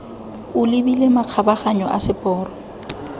o lebile makgabaganyo a seporo